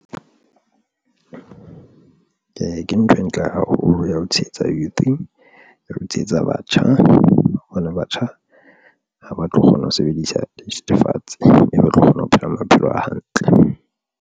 Ke ntho e ntle haholo ya ho tshehetsa youth ya ho tshehetsa batjha, hobane batjha ha ba tlo kgona ho sebedisa dithethefatse e tlo kgona ho phela maphelo a hantle.